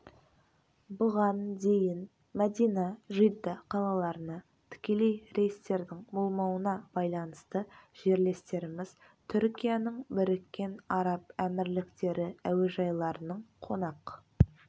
бұған дейін мәдина жидда қалаларына тікелей рейстердің болмауына байланысты жерлестеріміз түркияның біріккен араб әмірліктері әуежайларының қонақ